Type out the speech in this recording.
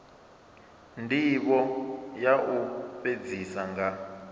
ndivho ya u fhedzisa nga